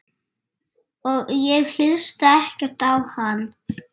Ég hlusta ekkert á hann.